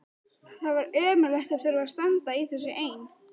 Það var ömurlegt að þurfa að standa í þessu ein.